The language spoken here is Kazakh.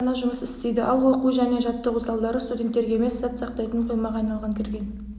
қана жұмыс істейді ал оқу және жаттығу залдары студенттерге емес зат сақтайтын қоймаға айналған кірген